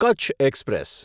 Kutch express